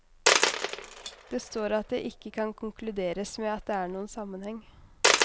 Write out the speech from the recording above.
Det står at det ikke kan konkluderes med at det er noen sammenheng.